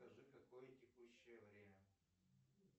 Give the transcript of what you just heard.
скажи какое текущее время